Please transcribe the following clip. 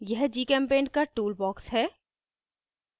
यह gchempaint का tool box है